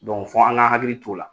Dɔnku f'an ka hakili t'o la